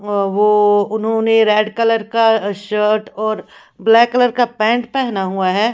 अ वो उन्होंने red colour का शर्ट और ब्लैक कलर का पैंट पहना हुआ है।